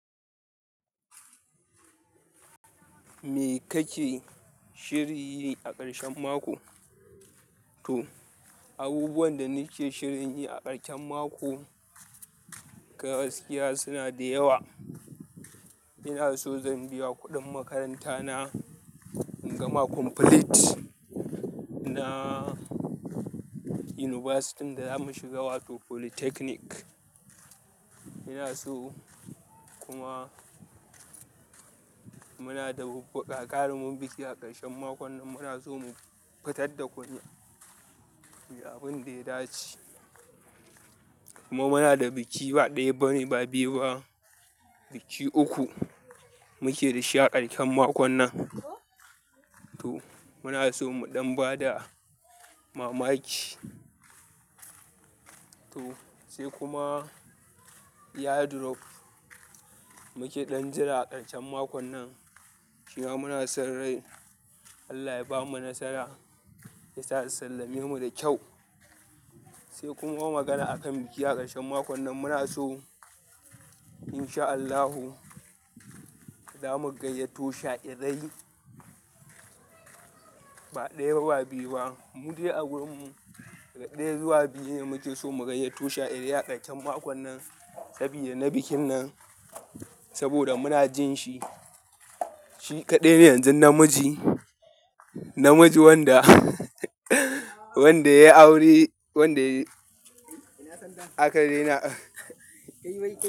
Me kake shirin yi a ƙarshen mako? To, abubuwan da nake shirin yi a ƙarshen mako gaskiya suna da yawa. Ina so zan biya kuɗin makaranta na in gama kumfilit na yunibasitin da zamu shiga wato politeknik. Ina so kuma muna da ga garumin biki a ƙarshen makon nan muna so mu fitar da kunya. Abin da ya dace. Kuma muna da biki ba ɗaya ba ne ba biyu ba, biki uku muke da sha a ƙarshen makon nan. To muna so muɗan ba da mamaki. To sai kuma iyado rof muke ɗan jira a ƙarshen makon nan. Shima muna son rai Allah ya bamu nasara yasa su sallame mu da kyau. Sai kuma magana akan biki a ƙarshen makon nan muna so insha Allahu zamu gayyato shaɗirai ba ɗaya ba ba biyu ba. Mu de a wurin mu, daga ɗaya zuwa biyu muke so mu gayyato shaɗirai a ƙarshen makon nan sabida na bikin nan. Saboda muna jin shi, shi kaɗai ne yanzu namiji, namiji wanda wanda ya yi aure wanda aka daina.